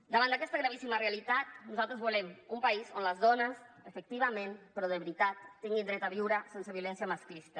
davant d’aquesta gravíssima realitat nosaltres volem un país on les dones efectivament però de veritat tinguin dret a viure sense violència masclista